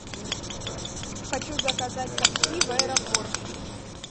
хочу заказать такси в аэропорт